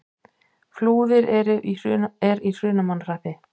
Flúðir er í Hrunamannahreppi.